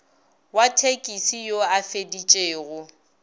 wa thekisi yo a feditšego